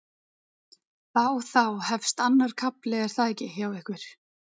Þá þá hefst annar kafli er það ekki hjá ykkur?